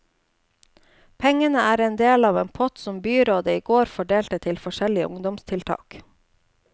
Pengene er en del av en pott som byrådet i går fordelte til forskjellige ungdomstiltak.